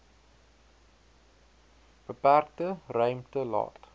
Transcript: beperkte ruimte laat